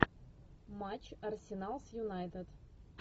матч арсенал с юнайтед